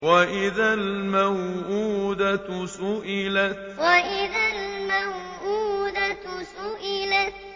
وَإِذَا الْمَوْءُودَةُ سُئِلَتْ وَإِذَا الْمَوْءُودَةُ سُئِلَتْ